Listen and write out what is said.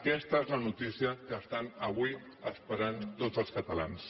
aquesta és la notícia que estan avui esperant tots els catalans